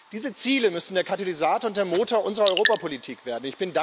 Diese Ziele müssen der Katalysator und der Motor unserer Europapolitik werden.